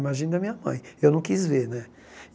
Imagina a minha mãe, eu não quis ver, né?